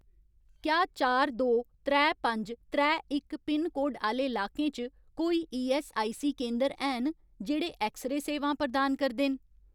क्या चार दो, त्रै पंज, त्रै इक पिनकोड आह्‌ले लाकें च कोई ईऐस्सआईसी केंदर हैन जेह्ड़े ऐक्स रे सेवां प्रदान करदे न।